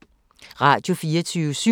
Radio24syv